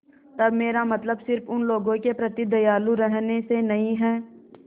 तब मेरा मतलब सिर्फ़ उन लोगों के प्रति दयालु रहने से नहीं है